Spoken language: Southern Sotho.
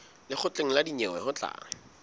lekgotleng la dinyewe ho tla